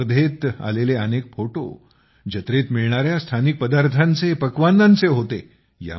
या स्पर्धेत आलेले अनेक फोटो जत्रेत मिळणाऱ्या स्थानिक पदार्थांचे पक्वान्नांचे होते